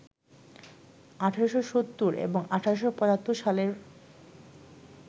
১৮৭০ এবং ১৮৭৫ সালের